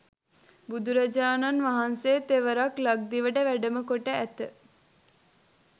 බුදුරජාණන් වහන්සේ තෙවරක් ලක්දිවට වැඩමකොට ඇත.